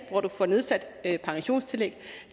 hvor du får nedsat pensionstillæg